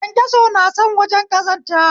kyankyaso na son wajen ƙazanta